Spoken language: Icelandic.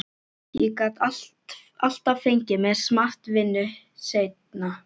Ég get alltaf fengið mér smart vinnu seinna.